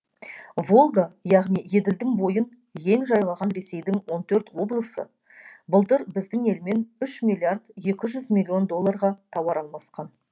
волга яғни еділдің бойын ен жайлаған ресейдің он төрт облысы былтыр біздің елмен үш миллиард екі жүз миллион долларға тауар алмасқан